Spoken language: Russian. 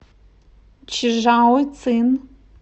чжаоцин